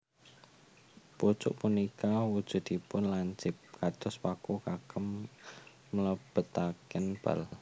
Pucuk punika wujudipun lancip kados paku kagem mlebetaken bal